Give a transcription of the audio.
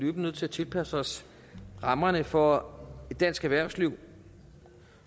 nødt til at tilpasse os rammerne for dansk erhvervsliv